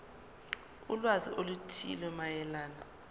ulwazi oluthile mayelana